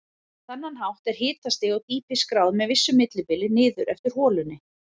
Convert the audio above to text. Á þennan hátt er hitastig og dýpi skráð með vissu millibili niður eftir holunni.